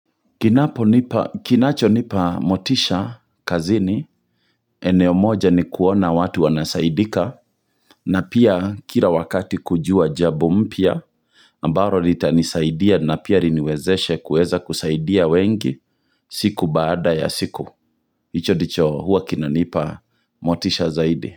Kinacho nipa motisha kazini, eneo moja ni kuona watu wanasaidika, na pia kila wakati kujua jambo mpya, ambaro litanisaidia na pia riniwezeshe kueza kusaidia wengi siku baada ya siku, hicho ndicho huwa kinanipa motisha zaidi.